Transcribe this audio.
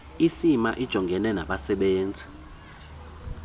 icma ijongene nabasebenzisi